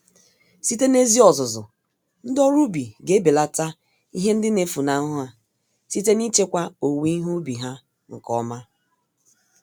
Site n'ezi ọzụzụ, ndị ọrụ ubi g'ebelata ihe ndị nefunahụ ha, site nichekwa owuwe ihe ubi ha nke ọma.